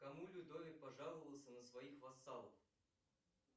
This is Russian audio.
кому людовик пожаловался на своих вассалов